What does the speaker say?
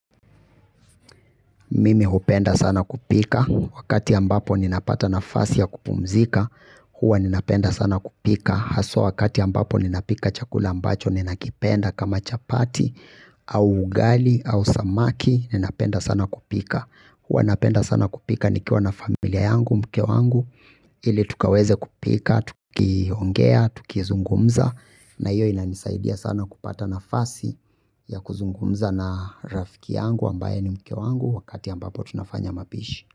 Mimi hupenda sana kupika. Wakati ambapo ninapata nafasi ya kupumzika, huwa ninapenda sana kupika. Haswa wakati ambapo ninapika chakula ambacho, ninakipenda kama chapati, au ugali, au samaki, ninapenda sana kupika. Huwa napenda sana kupika, nikiwa na familia yangu, mke wangu, ili tukaweze kupika, tukiongea, tukizungumza. Na hiyo inanisaidia sana kupata nafasi ya kuzungumza na rafiki yangu ambaye ni mke wangu wakati ambapo tunafanya mapishi.